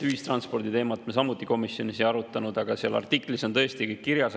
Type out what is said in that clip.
Ühistransporditeemat me samuti komisjonis ei arutanud, aga seal artiklis on tõesti kõik kirjas.